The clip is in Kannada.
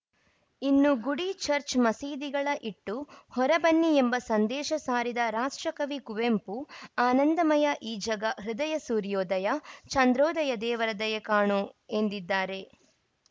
ಇನ್ನು ಗುಡಿ ಚರ್ಚ್ ಮಸೀದಿಗಳ ಇಟ್ಟು ಹೊರ ಬನ್ನಿ ಎಂಬ ಸಂದೇಶ ಸಾರಿದ ರಾಷ್ಟ್ರಕವಿ ಕುವೆಂಪು ಆನಂದಮಯ ಈ ಜಗ ಹೃದಯ ಸೂರ್ಯೋದಯ ಚಂದ್ರೋದಯ ದೇವರ ದಯೆ ಕಾಣೋ ಎಂದಿದ್ದಾರೆ